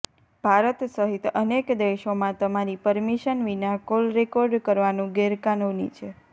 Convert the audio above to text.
ભારત સહિત અનેક દેશોમાં તમારી પરમિશન વિના કોલ રેકોર્ડ કરવાનું ગેરકાનૂની છે